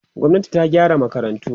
gwamnati ta gyara makarantu